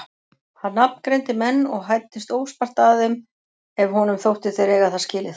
Hann nafngreindi menn og hæddist óspart að þeim ef honum þótti þeir eiga það skilið.